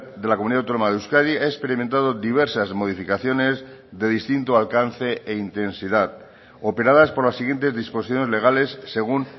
de la comunidad autónoma de euskadi ha experimentado diversas modificaciones de distinto alcance e intensidad operadas por las siguientes disposiciones legales según